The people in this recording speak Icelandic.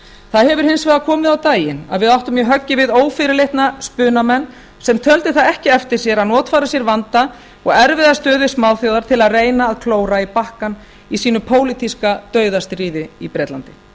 það hefur hins vegar komið á daginn að við áttum í höggi við ófyrirleitna spunamenn sem töldu það ekki eftir sér að notfæra sér vanda og erfiða stöðu smáþjóðar til að reyna að klóra í bakkann í sínu pólitíska dauðastríði í bretlandi